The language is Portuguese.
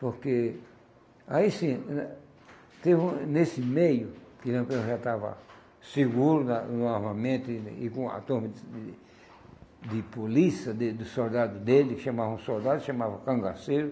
Porque, aí sim, eh, teve um, nesse meio, que o Lampião já estava seguro na no armamento e com a torre de de polícia, de de soldado dele, que chamavam soldado, chamavam cangaceiro,